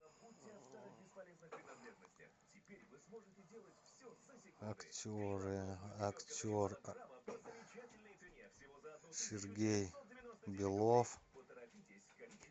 актеры актер сергей белов